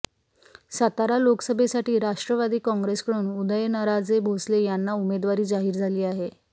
सातारा लोकसभेसाठी राष्ट्रवादी काँग्रेसकडून उदयनराजे भोसले यांना उमेदवारी जाहीर झाली आहे